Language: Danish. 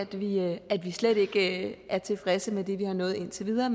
vi er slet ikke tilfredse med det vi har nået indtil videre